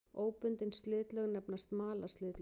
Óbundin slitlög nefnast malarslitlög.